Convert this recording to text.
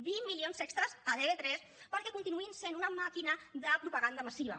vint milions extres a tv3 perquè continuïn sent una màquina de propaganda massiva